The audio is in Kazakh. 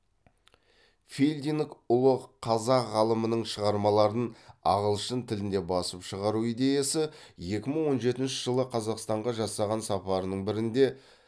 филдинг ұлы қазақ ғалымының шығармаларын ағылшын тілінде басып шығару идеясы екі мың он жетінші жылы қазақстанға жасаған сапарының бірінде